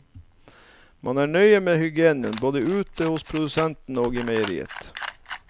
Man er nøye med hygienen, både ute hos produsentene og i meieriet.